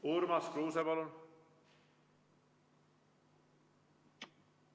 Urmas Kruuse, palun!